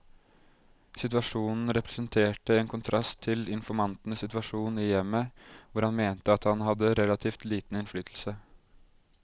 Situasjonen representerte en kontrast til informantens situasjon i hjemmet, hvor han mente at han hadde relativt liten innflytelse.